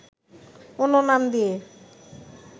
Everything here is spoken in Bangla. অন্য নাম দিয়ে